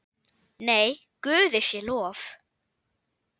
Nei, Guði sé lof.